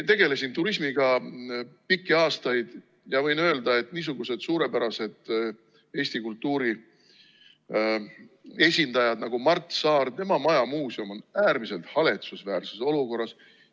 Tegelesin turismiga pikki aastaid ja võin öelda, et niisugused suurepärased Eesti kultuuri esindajad nagu Mart Saar, tema majamuuseum on äärmiselt haletsusväärses olukorras.